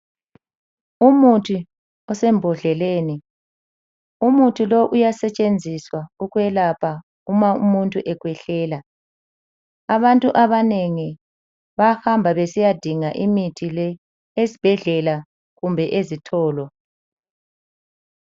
Umuthi osembodleleni, Umuthi lo uyasetshenziswa ukwelapha uma umuntu ekhwehlela. Abantu abanengi bayahamba besiya dinga imithi le .Ezibhedlela kumbe ezitolo.